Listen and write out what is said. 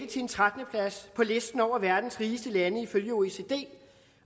til en trettende plads på listen over verdens rigeste lande ifølge oecd